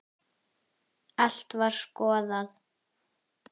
Allt var skoðað.